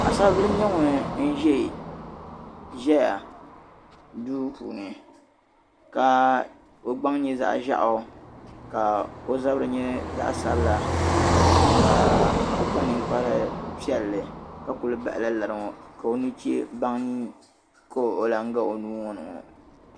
Paɣisaribila n-nyɛ ŋun za duu puuni ka o gbaŋ nyɛ zaɣ' ʒiɛɣu ka o zabiri nyɛ zaɣ' sabila ka o kpa ninkpar' piɛlli ka kuli bahila lari ŋɔ ka o nuchee baŋa ka o zaŋ ga o nuu ŋɔ ni ŋɔ.